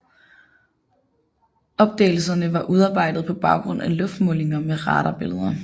Opdagelsen var udarbejdet på baggrund af luftmålinger med radarbilleder